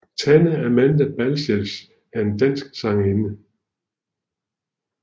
Tanne Amanda Balcells er en dansk sangerinde